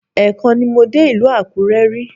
Ẹ́ẹ̀kan ni mo dé ìlú Àkúrẹ́ rí